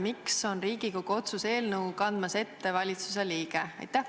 Miks on Riigikogu otsuse eelnõu kandmas ette valitsuse liige?